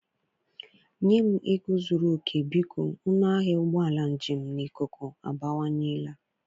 Nye m ego zuru oke, biko, ọnụ ahịa ụgbọ njem na ikuku abawanyela.